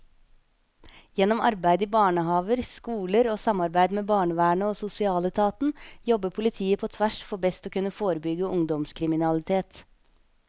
Gjennom arbeid i barnehaver, skoler og samarbeid med barnevernet og sosialetaten jobber politiet på tvers for best å kunne forebygge ungdomskriminalitet.